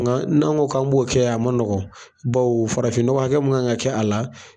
Nka n'an ko k'an b'o kɛ a ma nɔgɔ ,bawo farafin nɔgɔ hakɛ min kan ka kɛ a la.